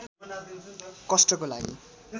कष्टको लागि